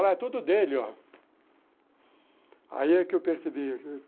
Ela é toda dele, ó. Aí é que eu percebi.